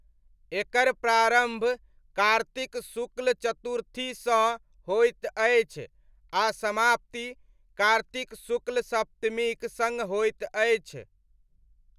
एकर प्रारम्भ कार्तिक शुक्ल चतुर्थीसँ होइत अछि आ समाप्ति कार्तिक शुक्ल सप्तमीक सङ्ग होइत अछि।